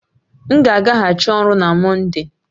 M ga agaghachi ọrụ na Mọnde